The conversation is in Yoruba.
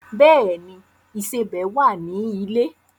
Bẹ́ẹ̀ ni, ìsẹbẹ̀ wà ní ilé.